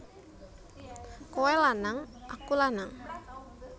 Kowe lanang aku lanang